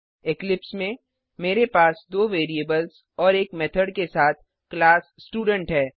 Eclipse में मेरे पास दो वेरिएबल्स और एक मेथड के साथ क्लास स्टूडेंट है